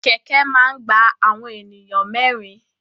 Kẹ̀kẹ́ máa ni gba awọn ènìyàn mẹrin.